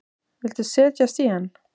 Viltu setjast í hann?